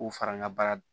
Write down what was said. K'u fara n ka baara